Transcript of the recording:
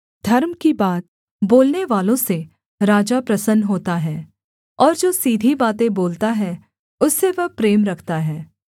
धर्म की बात बोलनेवालों से राजा प्रसन्न होता है और जो सीधी बातें बोलता है उससे वह प्रेम रखता है